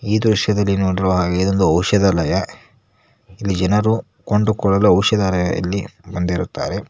ಈ ದೃಶ್ಯದಲ್ಲಿ ನೋಡಿರುವ ಹಾಗೆ ಇದು ಔಷಧಾಲಯ ಇಲ್ಲಿ ಜನರು ಕೊಂಡುಕೊಳ್ಳಲು ಔಷಧಾಲಯದಲ್ಲಿ ಬಂದಿರುತ್ತಾರೆ.